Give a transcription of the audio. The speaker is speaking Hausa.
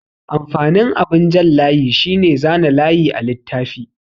Amfanin abin jan layi shine zana layi a littafi.